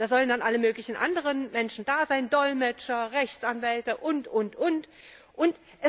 Da sollen dann alle möglichen anderen Menschen da sein Dolmetscher, Rechtsanwälte und, und, und.